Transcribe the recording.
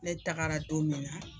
Ne tagara don min na